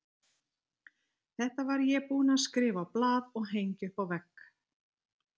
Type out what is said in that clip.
Þetta var ég búinn að skrifa á blað og hengja upp á vegg.